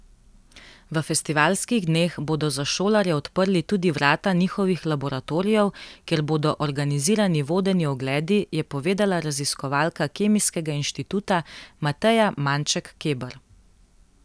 V festivalskih dneh bodo za šolarje odprli tudi vrata njihovih laboratorijev, kjer bodo organizirani vodeni ogledi, je povedala raziskovalka Kemijskega inštituta Mateja Manček Keber.